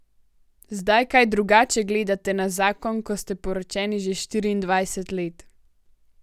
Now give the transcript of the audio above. Zdaj kaj drugače gledate na zakon, ko ste poročeni že štiriindvajset let?